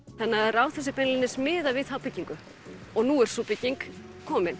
Ráðhúsið er beinlínis miðað við þá byggingu og nú er sú bygging komin